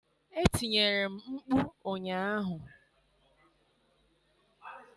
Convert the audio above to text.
Etinyere m mkpu ụnyaahụ.